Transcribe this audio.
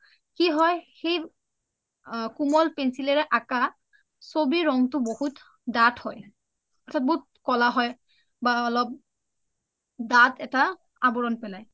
কি হয় কুমল pencil ৰে আকা চবি ৰংটো বহুত দাথ হয় বহুত কলা হয় বা অলপ দাথ এটা আবুৰণ পলাই